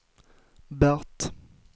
Bert